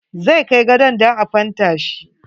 Zai kai gadon dan a fenta shi.